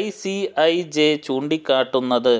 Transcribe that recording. ICIJ ചൂണ്ടിക്കാട്ടുന്നത്